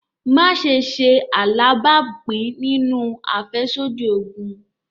Maṣe ṣe alabapin ninu afẹsodi oogun!